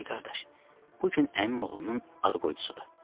Pişik qardaş, bu gün əmim oğlunun ad qoydusudur.